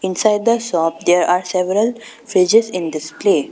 Inside the shop there are several fridges in display.